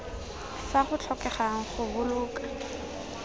fa go tlhokegang go boloka